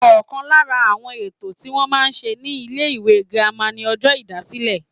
Ọ̀kan lára àwọn ètò tí wọ́n máa ń ṣe ní ilé ìwé girama ni ọjọ́ ìdásílẹ̀